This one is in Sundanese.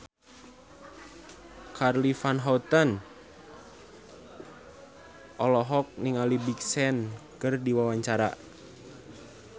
Charly Van Houten olohok ningali Big Sean keur diwawancara